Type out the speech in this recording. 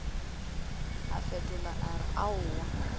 a fetola a re aowa